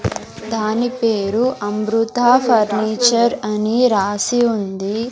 దాని పేరు అమృత ఫర్నిచర్ అని రాసి ఉంది.